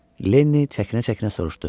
Lenni çəkinə-çəkinə soruşdu.